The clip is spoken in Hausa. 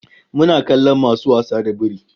Muna kallon masu wasa da biri